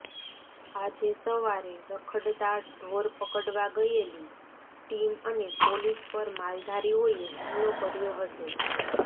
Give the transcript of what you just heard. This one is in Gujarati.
આજે સવારે રખડતા ઢોર પકડવા ગયેલી ટીમ અને પોલીસ પર માલધારીઓએ હુમલો કર્યો હતો